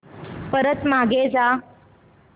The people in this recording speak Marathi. परत मागे जा